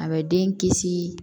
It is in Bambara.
A bɛ den kisi